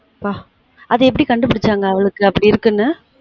அப்பா அது எப்டி கண்டுபுடிச்சாங்க அவளுக்கு அப்டி இருக்குனு